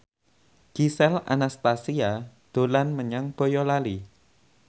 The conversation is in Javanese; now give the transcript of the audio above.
Gisel Anastasia dolan menyang Boyolali